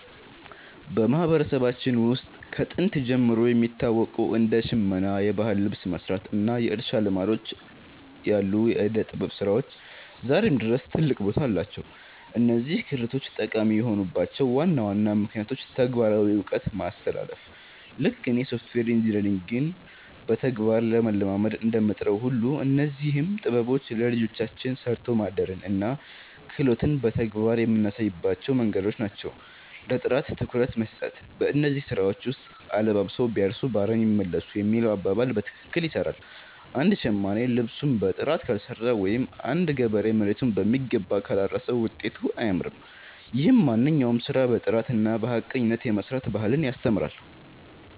በማህበረሰባችን ውስጥ ከጥንት ጀምሮ የሚታወቁ እንደ ሽመና (የባህል ልብስ መስራት) እና የእርሻ ልማዶች ያሉ የዕደ-ጥበብ ስራዎች ዛሬም ድረስ ትልቅ ቦታ አላቸው። እነዚህ ክህሎቶች ጠቃሚ የሆኑባቸው ዋና ዋና ምክንያቶች ተግባራዊ እውቀት ማስተላለፍ፦ ልክ እኔ ሶፍትዌር ኢንጂነሪንግን በተግባር ለመለማመድ እንደምጥረው ሁሉ፣ እነዚህም ጥበቦች ለልጆቻችን 'ሰርቶ ማደርን' እና 'ክህሎትን' በተግባር የምናሳይባቸው መንገዶች ናቸው። ለጥራት ትኩረት መስጠት፦ በእነዚህ ስራዎች ውስጥ 'አለባብሰው ቢያርሱ በአረም ይመለሱ' የሚለው አባባል በትክክል ይሰራል። አንድ ሸማኔ ልብሱን በጥራት ካልሰራው ወይም አንድ ገበሬ መሬቱን በሚገባ ካላረሰ ውጤቱ አያምርም። ይህም ማንኛውንም ስራ በጥራትና በሐቀኝነት የመስራት ባህልን ያስተምራል።